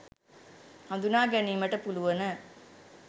හඳුනා ගැනීමට පුළුවන.